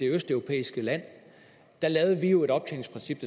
østeuropæiske land der lavede vi jo et optjeningsprincip